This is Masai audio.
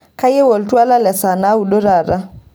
kayieu oltwala le saa naudo taata